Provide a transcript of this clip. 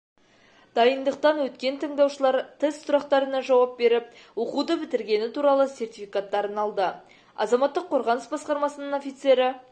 дайындықтан өткен тыңдаушылар тест сұрақтарына жауап беріп оқуды бітіргені туралы сертификаттарын алды азаматтық қорғаныс басқармасының офицері